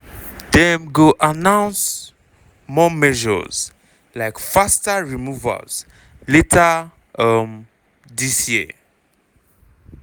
dem go announce more measures like faster removals later um dis year.